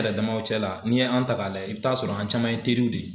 yɛrɛ damaw cɛla n'i ye an ta k'a lajɛ i bɛ t'a sɔrɔ an caman ye terirw de ye.